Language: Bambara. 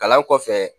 Kalan kɔfɛ